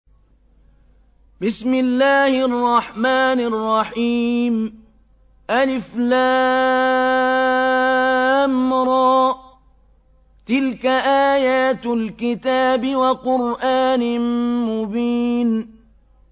الر ۚ تِلْكَ آيَاتُ الْكِتَابِ وَقُرْآنٍ مُّبِينٍ